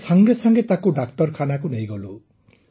ଆମେ ତୁରନ୍ତ ତାକୁ ଡାକ୍ତରଖାନାକୁ ନେଇଗଲୁ